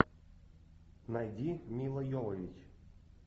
найди мила йовович